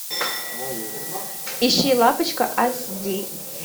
ищи лапочка аш ди